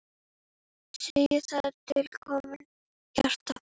Segjum að út komi hjarta.